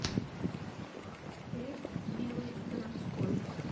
хлеб белый городской